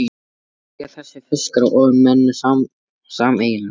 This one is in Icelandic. Hvað eiga þessir fiskar og menn sameiginlegt?